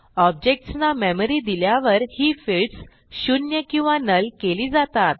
objects ना memory दिल्यावर ही फील्ड्स शून्य किंवा नुल केली जातात